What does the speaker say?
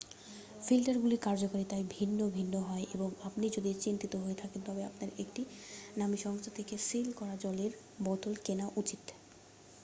ফিল্টারগুলির কার্যকারিতায় ভিন্ন ভিন্ন হয় এবং আপনি যদি চিন্তিত হয়ে থাকেন তবে আপনার একটি নামী সংস্থা থেকে সিল করা জলের বোতল কেনা উচিত